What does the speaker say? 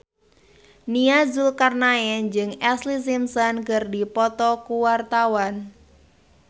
Nia Zulkarnaen jeung Ashlee Simpson keur dipoto ku wartawan